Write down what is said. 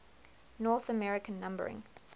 north american numbering